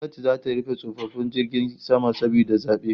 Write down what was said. Gwamnati zata rufe tashoshin jiragen sama saboda zabe